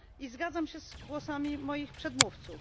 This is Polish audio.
Zgadzam się z głosami moich przedmówców.